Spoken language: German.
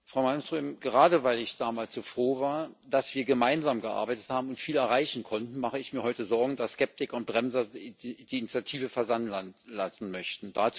Frau Malmström, gerade weil ich damals so froh war, dass wir gemeinsam gearbeitet haben und viel erreichen konnten, mache ich mir heute Sorgen, dass Skeptiker und Bremser die Initiative versanden lassen möchten.